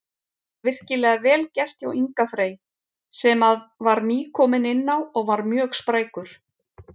Virkilega vel gert hjá Inga Frey sem að var nýkominn inná og var mjög sprækur.